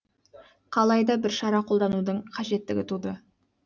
қалай да бір шара қолданудың қажеттігі туды